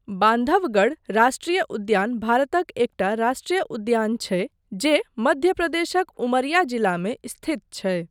बान्धवगढ़ राष्ट्रीय उद्यान भारतक एकटा राष्ट्रीय उद्यान छै जे मध्य प्रदेशक उमरिया जिलामे स्थित छै।